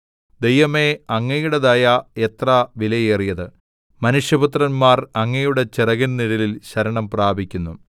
ദൈവമേ അങ്ങയുടെ ദയ എത്ര വിലയേറിയത് മനുഷ്യപുത്രന്മാർ അങ്ങയുടെ ചിറകിൻ നിഴലിൽ ശരണം പ്രാപിക്കുന്നു